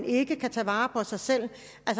ikke kan tage vare på sig selv